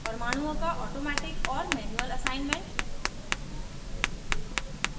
परमाणुओं का automatic और manual assignment